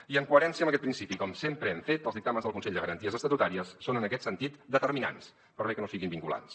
i en coherència amb aquest principi com sempre hem fet els dictàmens del consell de garanties estatutàries són en aquest sentit determinants per bé que no siguin vinculants